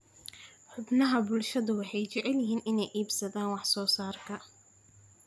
Xubnaha bulshadu waxay jecel yihiin inay iibsadaan wax soo saarka.